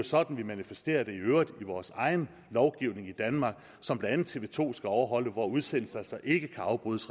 sådan vi manifesterer det i øvrigt i vores egen lovgivning i danmark som blandt andet tv to skal overholde hvor udsendelser altså ikke kan afbrydes